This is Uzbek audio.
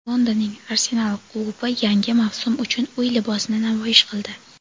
Londonning "Arsenal" klubi yangi mavsum uchun uy libosini namoyish qildi.